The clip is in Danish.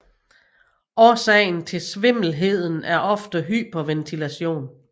Årsagen til svimmelheden er ofte hyperventilation